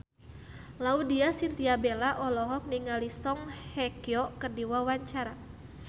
Laudya Chintya Bella olohok ningali Song Hye Kyo keur diwawancara